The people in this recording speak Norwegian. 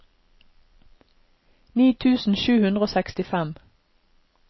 ni tusen sju hundre og sekstifem